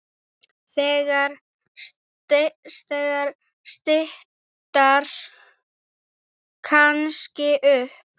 Það styttir kannski upp.